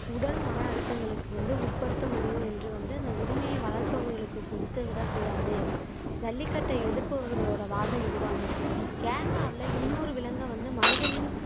உடல் மன அழுத்தங்களுக்கு வந்து உட்படுத்த முடியும் என்று வந்து அந்த உரிமையை வளர்ப்பவர்களுக்கு கொடுத்து விடக்கூடாது ஜல்லிக்கட்டை எதிர்ப்பவர்களோட வாதம் இதுவா இருந்துச்சு கேரளாவுல இன்னொரு விலங்கை வந்து மனிதனின்